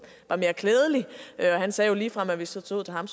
var mere klædelig han sagde jo ligefrem at hvis det stod til ham